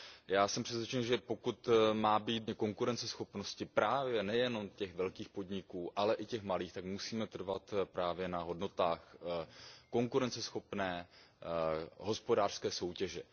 Já jsem přesvědčen, že pokud má být docíleno obecně konkurenceschopnosti právě nejenom těch velkých podniků, ale i těch malých, tak musíme trvat právě na hodnotách konkurenceschopné hospodářské soutěže.